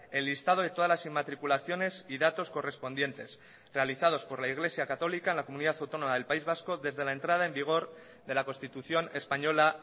el listado de todas las inmatriculaciones y datos correspondientes realizados por la iglesia católica en la comunidad autónoma del país vasco desde la entrada en vigor de la constitución española